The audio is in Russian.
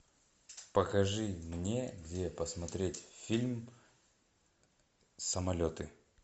покажи мне где посмотреть фильм самолеты